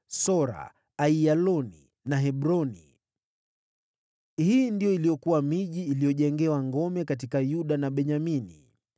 Sora, Aiyaloni na Hebroni. Hii ndiyo iliyokuwa miji iliyojengewa ngome katika Yuda na Benyamini.